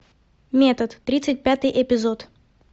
метод тридцать пятый эпизод